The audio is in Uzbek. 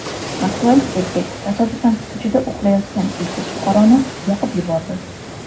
Moskvalik erkak tasodifan ko‘chada uxlayotgan uysiz fuqaroni yoqib yubordi.